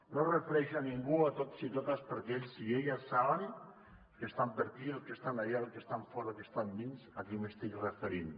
no em refereixo a ningú sinó a tots i totes perquè ells i elles saben els que estan per aquí els que estan allà els que estan fora els que estan dins a qui m’estic referint